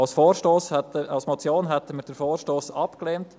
Als Motion hätten wir den Vorstoss abgelehnt.